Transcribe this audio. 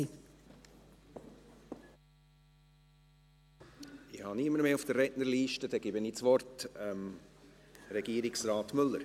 Ich habe niemanden mehr auf der Rednerliste, dann gebe ich das Wort Regierungsrat Müller.